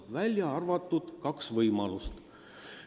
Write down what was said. Välja arvatud kaks võimalust.